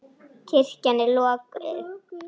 Kirkjan er lokuð.